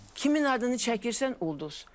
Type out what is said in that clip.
Kimin adını çəkirsən, ulduz.